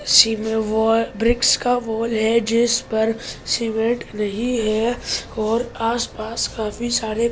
सेमे बाल वृक्ष का वॉल है जिस पर समेत रही है और आस पास कभी सारे फुल को --